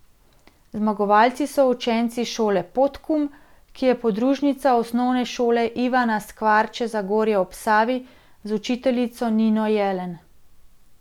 Zmagovalci so učenci šole Podkum, ki je podružnica Osnovne šole Ivana Skvarče Zagorje ob Savi, z učiteljico Nino Jelen.